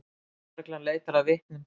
Lögreglan leitar að vitnum